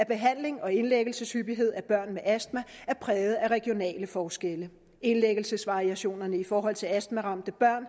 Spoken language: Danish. behandlings og indlæggelseshyppighed af børn med astma er præget af regionale forskelle indlæggelsesvariationerne i forhold til astmaramte børn